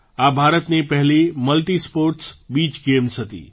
આ ભારતની પહેલી મલ્ટિસ્પૉર્ટ્સ બીચ ગેમ્સ હતી